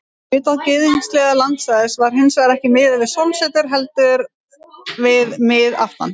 Utan gyðinglegs landsvæðis var hins vegar ekki miðað við sólsetur heldur við miðaftan.